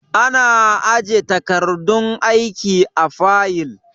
Ana aje takardun aiki a fayil.